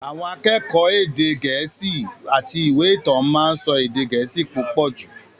Àwọn akẹ́kọ̀ọ́ ẹ̀kọ́ èdè Gẹ̀ẹ́sì àti ìwé ìtàn máa ń sọ èdè Gẹ̀ẹ́sì púpọ̀ jù.